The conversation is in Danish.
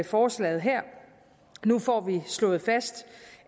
forslaget her nu får vi slået fast